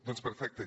doncs perfecte